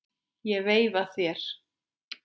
Ég veifa þér.